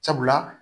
Sabula